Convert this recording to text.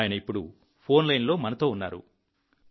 ఆయన ఇప్పుడు ఫోన్ లైన్లో మనతో ఉన్నారు